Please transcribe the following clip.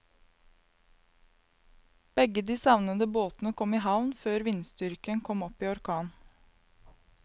Begge de savnede båtene kom i havn før vindstyrken kom opp i orkan.